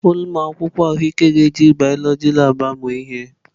Ụmụ akwụkwọ ahụike ga-eji biọloji labụ amụ ihe.